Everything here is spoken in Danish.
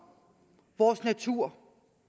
vores natur